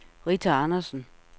Rita Andresen